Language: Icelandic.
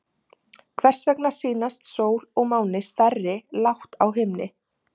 Hvers vegna sýnast sól og máni stærri lágt á himni?